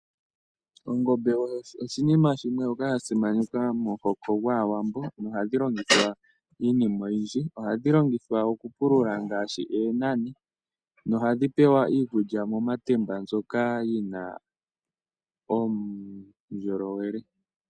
Ongombe oyo oshinima shimwe shoka sha simanekwa momuhoko gwAawambo nohadhi longithwa iinima oyindji. Ohadhi longithwa okupulula ngaashi oonani nohadhi pewa iikulya momatemba mbyoka yi na uundjolowele.